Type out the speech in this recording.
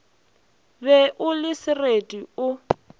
be o le sereti o